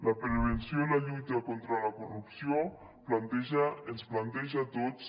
la prevenció i la lluita contra la corrupció planteja ens planteja a tots